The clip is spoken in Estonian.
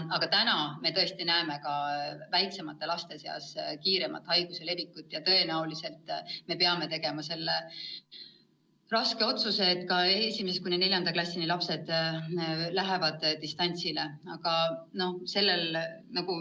Aga täna me tõesti näeme ka väiksemate laste seas kiiremat haiguse levikut ja tõenäoliselt me peame tegema selle raske otsuse, et ka esimesest kuni neljanda klassini lapsed lähevad distantsõppele.